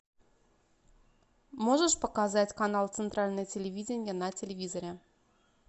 можешь показать канал центральное телевидение на телевизоре